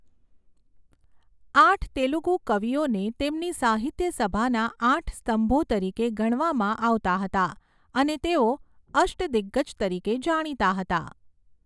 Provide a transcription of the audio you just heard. આઠ તેલુગુ કવિઓને તેમની સાહિત્યસભાના આઠ સ્તંભો તરીકે ગણવામાં આવતા હતા અને તેઓ અષ્ટદિગ્ગજ તરીકે જાણીતા હતા.